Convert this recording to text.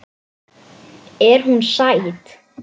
Er hún sæt?